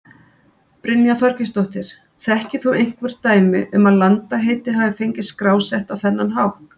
Brynja Þorgeirsdóttir: Þekkir þú einhver dæmi um að landaheiti hafi fengist skrásett á þennan hátt?